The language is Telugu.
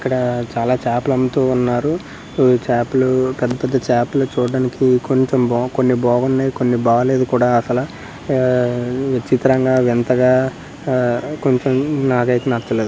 ఇక్కడ చాలా చాపల అమ్ముతున్నారు. ఇవి చాపలు పెద్ద పెద్ద చాపలు చూడడానికి కొంచెం బో కొన్ని బాగున్నాయి కొన్ని బాలేదు కూడా అసలు విచిత్రంగా వింతగా కొంచెం నాకైతే నచ్చలేదు.